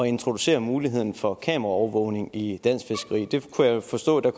introducere muligheden for kameraovervågning i dansk fiskeri jeg kunne forstå at der